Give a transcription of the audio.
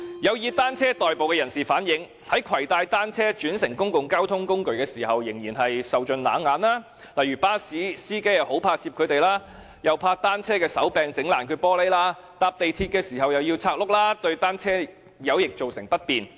有以單車代步的人士反映，在攜帶單車轉乘公共交通工具時仍然受盡冷眼，例如巴士司機很怕接載他們，怕單車的手柄弄破玻璃窗；乘搭港鐵時又要把車輪拆除，對他們造成不便。